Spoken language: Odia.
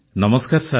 ନମସ୍କାର ସାର୍